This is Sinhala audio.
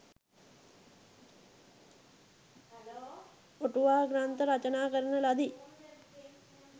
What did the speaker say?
අටුවා ග්‍රන්ථ රචනා කරන ලදී.